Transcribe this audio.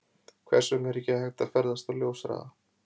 Hvers vegna er ekki hægt að ferðast á ljóshraða?